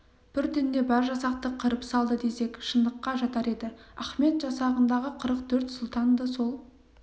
бір түнде бар жасақты қырып салды десек шындыққа жатар еді ахмет жасағындағы қырық төрт сұлтанды сол